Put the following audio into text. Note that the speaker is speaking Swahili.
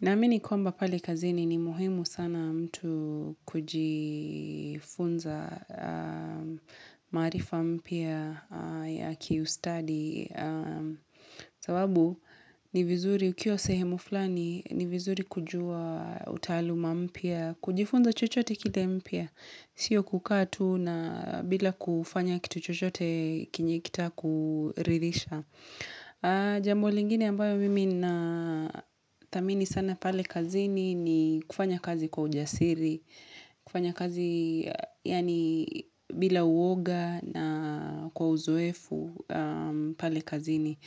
Na amini kwamba pale kazini ni muhimu sana mtu kujifunza marifa mpya ya kiustadi. Sababu ni vizuri ukiwa sehemu fulani ni vizuri kujua utaluma mpya, kujifunza chochote kita mpya. Sio kukatu na bila kufanya kitu chochote kinjekita kuririsha. Jambo lingine ambayo mimi na tamini sana pale kazini ni kufanya kazi kwa ujasiri kufanya kazi yani bila uoga na kwa uzoefu pale kazini